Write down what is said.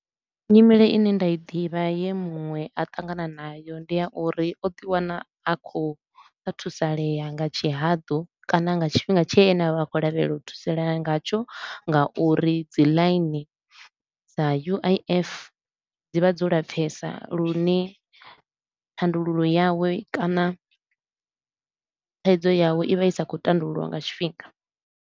Nyimele i ne nda i ḓivha ye muṅwe a ṱangana nayo ndi ya uri o ḓi wana a khou sa thusalea nga tshihaḓu kana nga tshifhinga tshe ene a vha a tshi khou lavhelela u thusalea ngatsho nga uri dzi ḽaini dza U_I_F dzi vha dzo lapfesa lune thandululo yawe kana thaidzo yawe i vha i sa khou tandululwa nga tshifhinga.